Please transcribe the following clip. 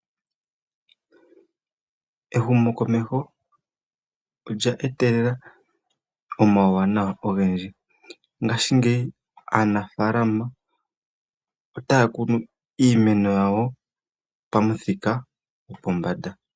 Ehumokomeho olya etelela omauwanawa ogendji ngaashingeyi aanafaalama otaya kunu iimeno yawo pamuthika gopombanda.